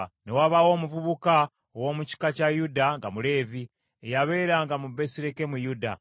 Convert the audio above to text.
Ne wabaawo omuvubuka ow’omu kika kya Yuda nga Muleevi, eyabeeranga mu Besirekemuyuda.